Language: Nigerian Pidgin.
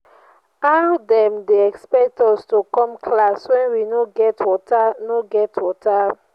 how dem dey expect us to come class wen we no get water no get water.